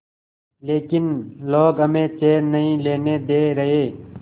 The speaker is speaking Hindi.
लेकिन लोग हमें चैन नहीं लेने दे रहे